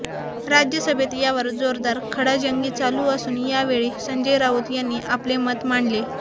राज्यसभेत यावर जोरदार खडाजंगी चालू असून यावेळी संजय राऊत यांनी आपले मत मांडले